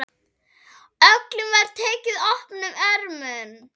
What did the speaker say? Öllum var tekið opnum örmum.